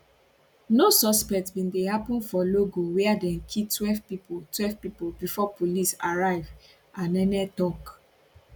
no suspect bin dey happun for logo wia dem kill twelve pipo twelve pipo before police arrive anene tok